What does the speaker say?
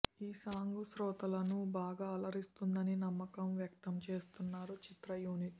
ఈ సాంగ్ శ్రోతలను బాగా అలరిస్తుందని నమ్మకం వ్యక్తం చేస్తున్నారు చిత్ర యూనిట్